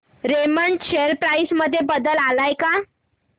Raymond share price मध्ये बदल आलाय का